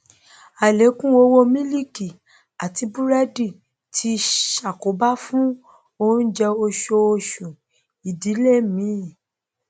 àlékún owó mílíìkì àti búrẹdì tí ṣàkóbá fún oúnjẹ oṣooṣù ìdílé mí